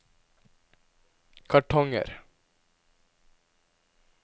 kartonger